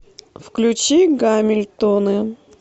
включи гамильтоны